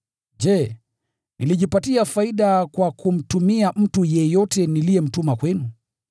Je, nilijipatia faida kwa kumtumia mtu yeyote niliyemtuma kwenu?